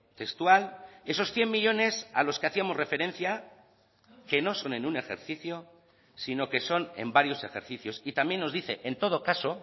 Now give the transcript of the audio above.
textual esos cien millónes a los que hacíamos referencia que no son en un ejercicio sino que son en varios ejercicios y también nos dice en todo caso